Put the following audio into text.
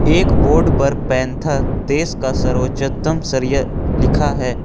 एक बोर्ड पर पैंथर देश का सर्वोच्चतम सरिया लिखा है।